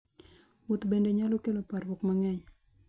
Wuoth bende nyalo kelo parruok mang'eny.